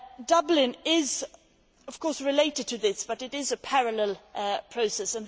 Dublin is, of course, related to this, but it is a parallel process.